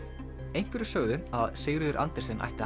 einhverjir sögðu að Sigríður Andersen ætti að